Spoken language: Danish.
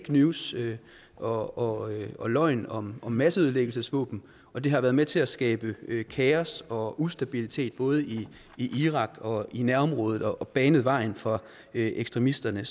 news og og løgn om masseødelæggelsesvåben og det har været med til at skabe kaos og ustabilitet både i irak og i nærområdet og banet vejen for ekstremisterne